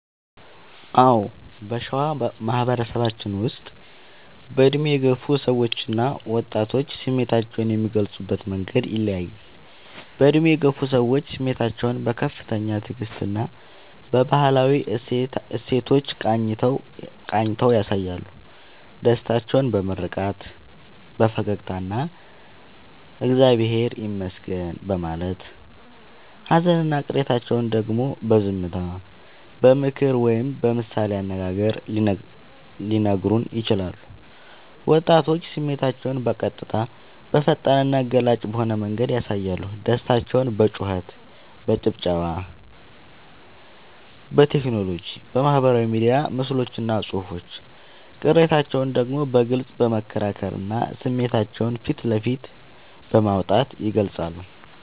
አዎ: በሸዋ ማህበረሰባችን ውስጥ በዕድሜ የገፉ ሰዎችና ወጣቶች ስሜታቸውን የሚገልጹበት መንገድ ይለያያል፦ በዕድሜ የገፉ ሰዎች፦ ስሜታቸውን በከፍተኛ ትዕግስትና በባህላዊ እሴቶች ቃኝተው ያሳያሉ። ደስታቸውን በምርቃት፣ በፈገግታና «እግዚአብሔር ይመስገን» በማለት: ሃዘንና ቅሬታቸውን ደግሞ በዝምታ: በምክር ወይም በምሳሌ አነጋገር ሊነግሩን ይችላሉ። ወጣቶች፦ ስሜታቸውን በቀጥታ: በፈጣንና ገላጭ በሆነ መንገድ ያሳያሉ። ደስታቸውን በጩኸት: በጭብጨባ: በቴክኖሎጂ (በማህበራዊ ሚዲያ ምስሎችና ጽሑፎች): ቅሬታቸውን ደግሞ በግልጽ በመከራከርና ስሜታቸውን ፊት ለፊት በማውጣት ይገልጻሉ።